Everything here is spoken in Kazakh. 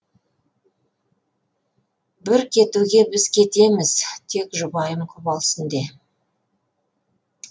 бір кетуге біз кетеміз тек жұбайым құп алсын де